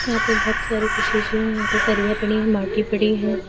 यहां पे बहुत सारी कुछ शीशे हैं यहां पे सरिया पड़ी हैं माटी पड़ी है।